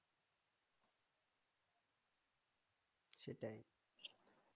সেটাই